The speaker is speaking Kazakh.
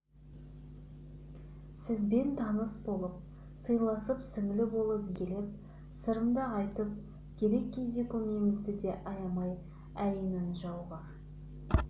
сізбен таныс болып сыйласып сіңлі болып еркелеп сырымды айтып керек кезде көмегіңізді де аямай әй нанжауғыр